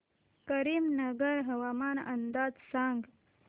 करीमनगर हवामान अंदाज सांग